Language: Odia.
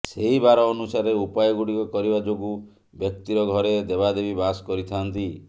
ସେହି ବାର ଅନୁସାରେ ଉପାୟ ଗୁଡ଼ିକ କରିବା ଯୋଗୁଁ ବ୍ୟକ୍ତିର ଘରେ ଦେବାଦେବୀ ବାସ କରିଥାଆନ୍ତି